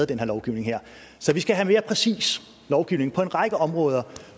den her lovgivning så vi skal have mere præcis lovgivning på en række områder